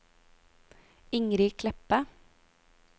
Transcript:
Ingrid Kleppe